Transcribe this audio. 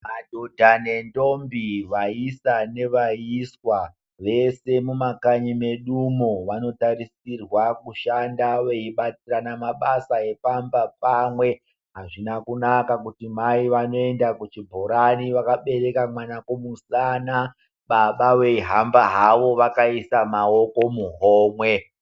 Madhodha nendombi, vaisa nevaiswa vese mumakanyi medumo, vanotarisirwa kushanda veibatsirana mabasa epamba pamwe. Azvina kunaka kuti, mai vanoenda kuchibhorani vakabereka mwana kumusana, baba veihamba havo vakaisa maoko muhomwe.